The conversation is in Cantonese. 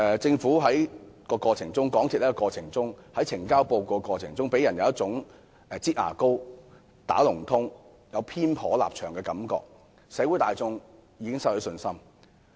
政府和港鐵公司在呈交報告的過程中，予人有一種"擠牙膏"、"打龍通"和立場偏頗的感覺，社會大眾已對他們失去信心。